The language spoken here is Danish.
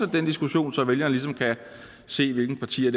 den diskussion så vælgerne kan se hvilke partier